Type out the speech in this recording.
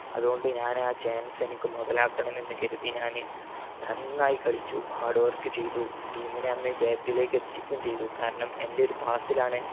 അത്കൊണ്ട് ഞാൻ ആ chance എനിക്ക് മൊതലാക്കണം എന്ന് കരുതി ഞാൻ നന്നായി കളിച്ചു hard work ചെയ്തു team നെയന്ന് ജയത്തിലേക്ക് എത്തിക്കുകയും ചെയ്തു. കാരണം എന്റെ ഒരു pass ലാണ്